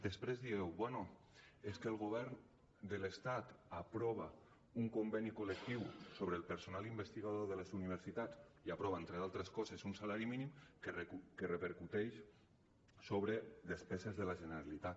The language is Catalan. després dieu bé és que el govern de l’estat aprova un conveni col·lectiu sobre el personal investigador de les universitats i aprova entre altres coses un salari mínim que repercuteix sobre despeses de la generalitat